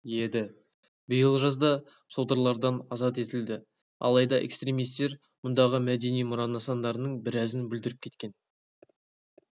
еді биыл жазда содырлардан азат етілді алайда экстремистер мұндағы мәдени мұра нысандарының біразын бүлдіріп кеткен